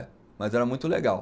Mas era muito legal.